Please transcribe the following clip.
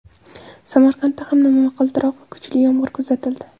Samarqandda ham momaqaldiroq va kuchli yomg‘ir kuzatildi.